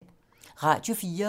Radio 4